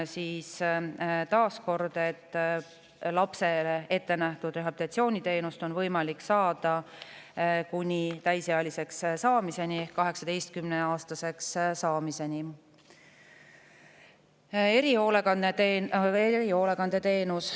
Taas kord, lapsele ette nähtud rehabilitatsiooniteenust on võimalik saada kuni täisealiseks ehk 18-aastaseks saamiseni.